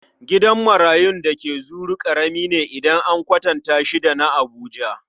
Gidan marayun da ke Zuru ƙarami ne idan an kwatanta da shi na Abuja.